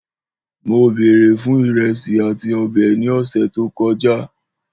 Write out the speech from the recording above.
Mó bèrè fun ìrèsí atí õbè ní õsè tó kõjá